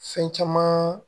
Fɛn caman